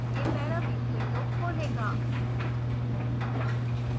यह paraview window खोलेगा